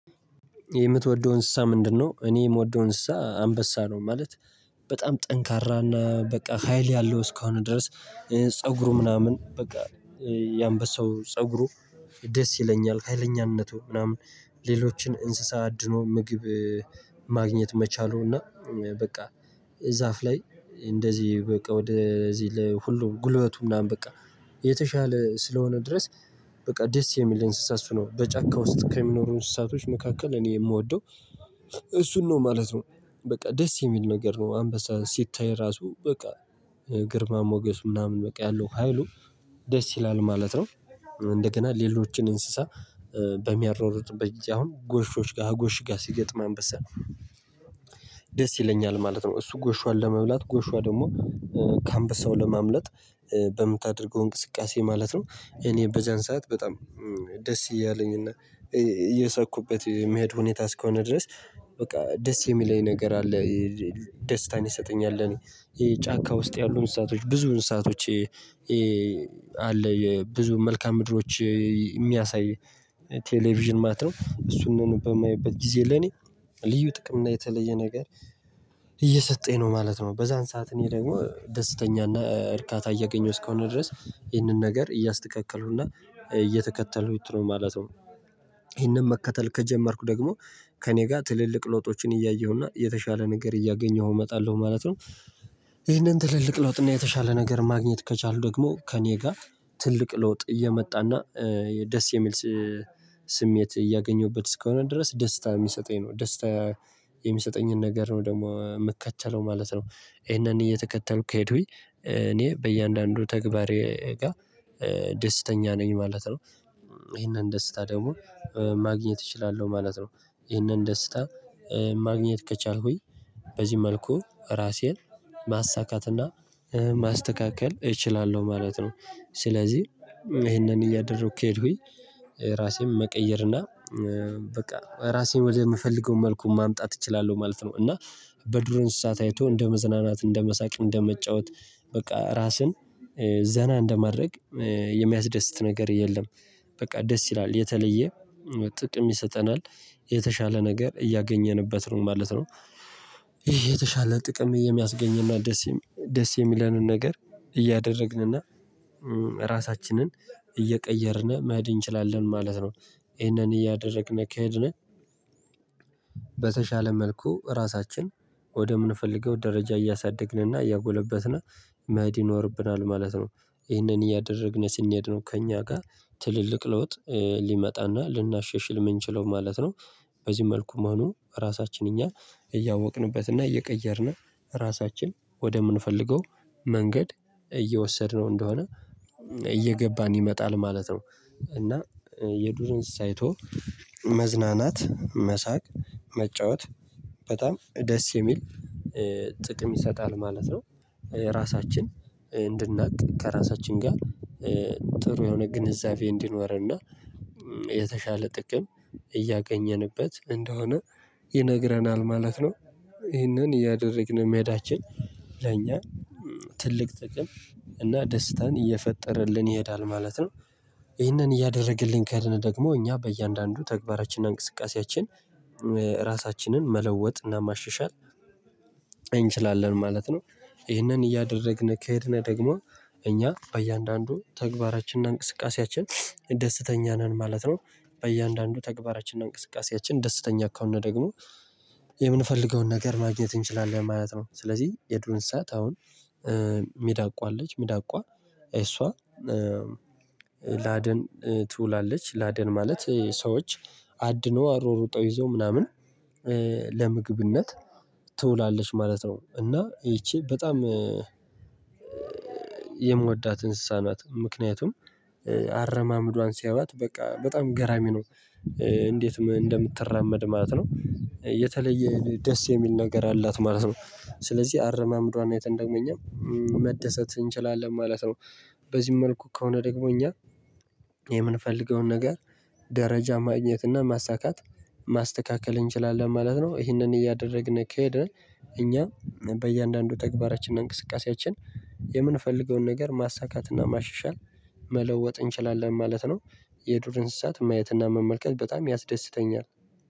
የምትወደውን እንስሳ ምንድነው? እኔ የምወደው እንስሳ አንበሳ ነው ማለት። በጣም ጠንካራ እና በቃ ሀይል ያለው እስከሆን ድረስ ፀጉሩ ምናምን በቃ። የአንበሳው ፀጉሩ ደስ ይለኛል ኃይለኛነቱ ምናምን። ሌሎችን እንስሳ አድኖ ምግብ ማግኘት መቻሉና በቃ። ዛፍ ላይ እንደዚህ በቃ ወደዚህ ለሁሉ ጉልበቱ ምናምን በቃ። የተሻለ ስለሆነ ድረስ በቃ ደስ የሚል እንስሳ እሱ ነው በጫካ ውስጥ ከሚኖሩ እንስሳቶች መካከል እኔ የምወደው። እሱን ነው ማለት ነው። በቃ ደስ የሚል ነገር ነው አንበሳ ሲታይ ራሱ በቃ። ግርማ ሞገሱ ምናምን በቃ ያለው ሀይሉ። ደስ ይላል ማለት ነው። እንደገና ሌሎችን እንስሳ። በሚያራሩጡበት ጊዜ አሁን ጎሾች ጋር ጎሽ ጋር ሲገጥም አንበሳ። ደስ ይለኛል ማለት ነው። እሱ ጎሽዋን ለመብላት ጎሽዋ ደግሞ ከአንበሳው ለማምለጥ። በምታደርገው እንቅስቃሴ ማለት ነው እኔ በዛን ሰዓት በጣም ደስ እያለኝ እና። እየሳኩበት የሚሄድ ሁኔታ እስከሆነ ድረስ በቃ ደስ የሚለኝ ነገር አለ። ደስታን ይሰጠኛል ለኔ። ጫካ ውስጥ ያሉ እንስሳቶች ብዙ እንስሳቶች። አለ የብዙ መልካም ምድሮች የሚያሳይ። ቴሌቪዥን ማለት ነው እሱንም በማይበት ጊዜ ለኔ ልዩ ጥቅም እና የተለየ ነገር። እየሰጠኝ ነው ማለት ነው። በዛን ሰዓት እኔ ደግሞ ደስተኛና እርካታ እያገኘሁ እስከሆነ ድረስ ይህንን ነገር እያስተካከልኩና እየተከተሉት ነው ማለት ነው። ይህንን መከተል ከጀመርኩ ደግሞ ከእኔ ጋር ትልልቅ ለውጦችን እያየሁና የተሻለ ነገር እያገኘሁ እመጣለሁ ማለት ነው። ይህንን ትልልቅ ለውጥ እና የተሻለ ነገር ማግኘት ከቻሉ ደግሞ ከእኔ ጋር ትልቅ ለውጥ እየመጣና ደስ የሚል። ስሜት እያገኘሁበት እስከሆነ ድረስ ደስታ የሚሰጠኝ ነው ደስታ የሚሰጠኝን ነገር ነው ደግሞ የምከተለው ማለት ነው። ይሄንን እየተከተልኩ ከሄዱኝ እኔ በእያንዳንዱ ተግባሬ ጋር ደስተኛ ነኝ ማለት ነው። ይሄንን ደስታ ደግሞ ማግኘት እችላለሁ ማለት ነው። ይሄንን ደስታ ማግኘት ከቻልኩኝ በዚህ መልኩ ራሴን ማሳካትና ማስተካከል እችላለሁ ማለት ነው። ስለዚህ ይሄንን እያደረኩ ከሄድኩኝ ራሴን መቀየር እና በቃ ራሴን ወደምፈልገው መልኩ ማምጣት እችላለሁ ማለት ነው። እና በዱር እንስሳት አይቶ እንደ መዝናናት እንደ መሳቅ እንደ መጫወት በቃ ራስን ዘና እንደማድረግ የሚያስደስት ነገር የለም። በቃ ደስ ይላል የተለየ ጥቅም ይሰጠናል የተሻለ ነገር እያገኘንበት ነው ማለት ነው። ይሄ የተሻለ ጥቅም የሚያስገኝና ደስ ደስ የሚለንን ነገር እያደረግንና ራሳችንን እየቀየርን መሄድ እንችላለን ማለት ነው። ይሄንን እያደረግን ከሄድን። በተሻለ መልኩ ራሳችን ወደምንፈልገው ደረጃ እያሳደግንና እያጎለበትን መሄድ ይኖርብናል ማለት ነው። ይህንን እያደረግን ስንሄድ ነው ከእኛ ጋር ትልልቅ ለውጥ ሊመጣና ልናሻሽል የምንችለው ማለት ነው። በዚህ መልኩ መሆኑ ራሳችን እኛ እያወቅንበትና እየቀየርን ራሳችን ወደምንፈልገው መንገድ እየወሰድነው እንደሆነ። እየገባን ይመጣል ማለት ነው። እና የዱር እንስሳ አይቶ መዝናናት መሳቅ መጫወት በጣም ደስ የሚል ጥቅም ይሰጣል ማለት ነው። ራሳችን እንድናቅ ከራሳችን ጋር ጥሩ የሆነ ግንዛቤ እንዲኖረንና የተሻለ ጥቅም እያገኘንበት እንደሆነ ይነግረናል ማለት ነው። ይሄንን እያደረግን መሄዳችን ለእኛ ትልቅ ጥቅም እና ደስታን እየፈጠረልን ይሄዳል ማለት ነው። ይህንን እያደረግልን ከሄድን ደግሞ እኛ በእያንዳንዱ ተግባራችንና እንቅስቃሴያችን ራሳችንን መለወጥና ማሻሻል እንችላለን ማለት ነው። ይህንን እያደረግን ከሄድን ደግሞ እኛ በእያንዳንዱ ተግባራችንና እንቅስቃሴያችን ደስተኛ ነን ማለት ነው። በእያንዳንዱ ተግባራችንና እንቅስቃሴያችን ደስተኛ ከሆን ደግሞ የምንፈልገውን ነገር ማግኘት እንችላለን ማለት ነው። ስለዚህ የዱር እንስሳት አሁን ሚዳቋ አለች ሜዳቋ እሷ። ለአደን ትውላለች ለአደን ማለት ሰዎች አድኖ አሯሩጠው ይዘው ምናምን ለምግብነት ትውላለች ማለት ነው። እና ይቺ በጣም የምወዳት እንስሳ ናት። ምክንያቱም አረማመዷን ሲያዋት በቃ በጣም ገራሚ ነው። እንዴት እንደምትራመድ ማለት ነው። የተለየ ደስ የሚል ነገር አላት ማለት ነው ስለዚህ አረማምዷን አይተን ደግሞ እኛ መደሰት እንችላለን ማለት ነው። በዚህ መልኩ ከሆነ ደግሞ እኛ የምንፈልገውን ነገር ደረጃ ማግኘት እና ማሳካት ማስተካከል እንችላለን ማለት ነው። ይህንን እያደረግን ከሄድን እኛ በእያንዳንዱ ተግባራችንና እንቅስቃሴያችን የምንፈልገውን ነገር ማሳካትና ማሻሻል መለወጥ እንችላለን ማለት ነው። የዱር እንስሳት ማየትና መመልከት በጣም ያስደስተኛል።